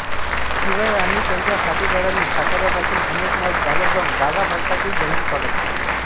शिवराय आणि त्यांच्या साथीदारांनी साताऱ्यापासून अनेक मैल चालत जाऊन गागाभट्टाचे जंगी स्वागत केले